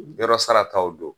; Yɔrɔ sara taw don.